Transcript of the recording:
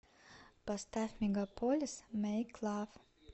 поставь мегаполис мэйклав